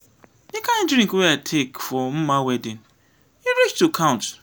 the kin drink wey i take for mma wedding e reach to count.